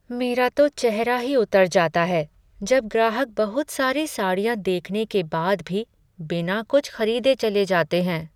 मेरा तो चेहरा ही उतर जाता है जब ग्राहक बहुत सारी साड़ियाँ देखने के बाद भी बिना कुछ खरीदे चले जाते हैं।